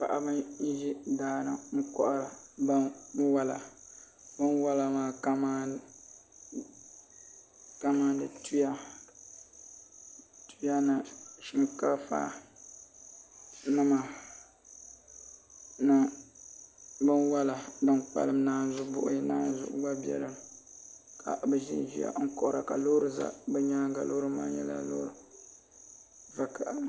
Paɣaba n ʒi daani kohari kamani binwola binwola maa kamani tuya ni shinkaafa ni binwola din kpalim naanzu buhi gba biɛni ka bi ʒinʒiya n kohara ka loori ʒɛ bi nyaanga loori maa nyɛla vakaɣali